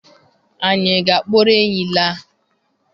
Anyị ga-akpọrọ enyí laa?